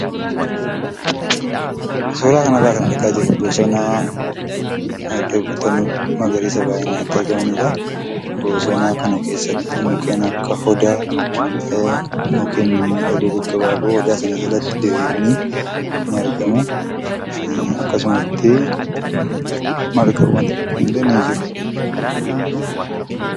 Suuraa kanarraa kan argaa jirru bosona iddoo biqiltoonni magariisaa baay'inaan itti argamaniidha. Bosona kana keessatti mukkeen akka Odaa mukkeen mimmiidhagoo gaggabaaboo odaa sana jalatti diriiranii ni argamu. Akkasumas margawwan xixiqqoon illee ni jiru.